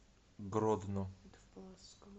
гродно